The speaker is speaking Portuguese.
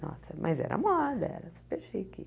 Nossa, mas era moda, era super chique.